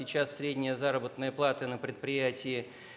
сейчас средняя заработная плата на предприятии